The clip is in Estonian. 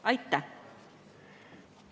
Aitäh!